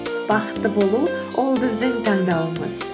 бақытты болу ол біздің таңдауымыз